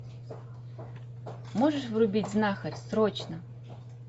можешь врубить знахарь срочно